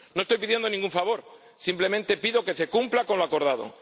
No estoy pidiendo ningún favor, simplemente pido que se cumpla lo acordado.